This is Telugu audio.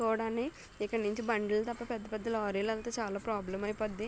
ఇక్కడ నుంచి బండ్లు తప్ప పెద్ద పెద్ద లారీలు ఎళ్తే చాలా ప్రాబ్లెమ్ అయిపోద్ది.